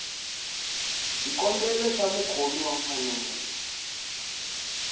xikombelo xa mukhomi wa mfanelo